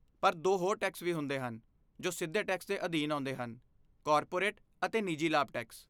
ਪਰ ਦੋ ਹੋਰ ਟੈਕਸ ਵੀ ਹੁੰਦੇ ਹਨ ਜੋ ਸਿੱਧੇ ਟੈਕਸ ਦੇ ਅਧੀਨ ਆਉਂਦੇ ਹਨ, ਕਾਰਪੋਰੇਟ ਅਤੇ ਨਿੱਜੀ ਲਾਭ ਟੈਕਸ।